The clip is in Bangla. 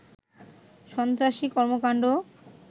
সন্ত্রাসী কর্মকাণ্ড